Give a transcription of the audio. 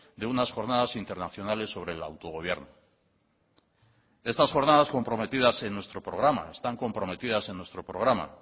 de unas jornadas internacionales sobre el autogobierno estas jornadas comprometidas en nuestro programa están comprometidas en nuestro programa